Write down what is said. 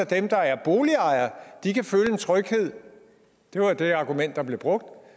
dem der er boligejere kan føle en tryghed det var det argument der blev brugt